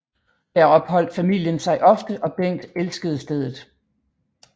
Her opholdt familien sig ofte og Bengt elskede stedet